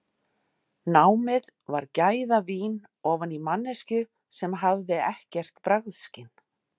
Námið var gæðavín ofan í manneskju sem hafði ekkert bragðskyn.